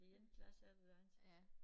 Det ene glas efter det andet